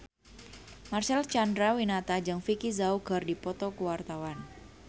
Marcel Chandrawinata jeung Vicki Zao keur dipoto ku wartawan